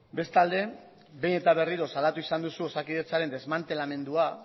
bestalde behin eta berriro salatu izan duzu osakidetzaren desmantelamendua